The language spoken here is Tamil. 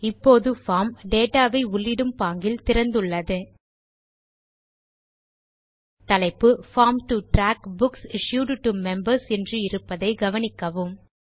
இப்போது பார்ம் டேட்டா வை உள்ளிடும் பாங்கில் திறந்துள்ளது தலைப்பு form to track books issued to members என்று இருப்பதை கவனிக்கவும்